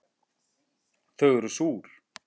Þau eru súr